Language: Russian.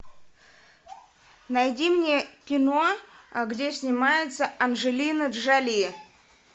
найди мне кино где снимается анджелина джоли